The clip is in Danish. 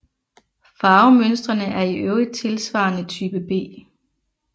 Farvemønstrene er i øvrigt tilsvarende Type B